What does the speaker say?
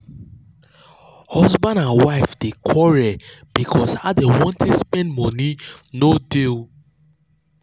husband and wife dey quarrel because how dem wan take spend money no dey gel